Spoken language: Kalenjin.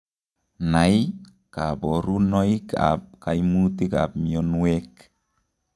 Nai kaborunoik ab kaimutik ab mionwek